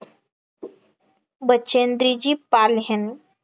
बचेंद्रीजी पाल ह्यांनी